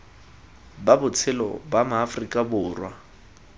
ba botshelo ba maaforika borwa